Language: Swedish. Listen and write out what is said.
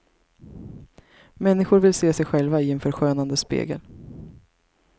Människor vill se sig själva i en förskönande spegel.